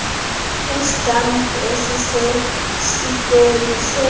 istampu esisesikweni sesi